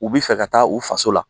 U bɛ fɛ ka taa u faso la